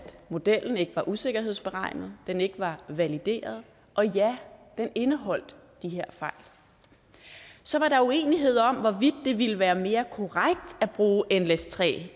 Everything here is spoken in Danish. modellen ikke var usikkerhedsberegnet den ikke var valideret og ja den indeholdt de her fejl så var der uenighed om hvorvidt det ville være mere korrekt at bruge nles3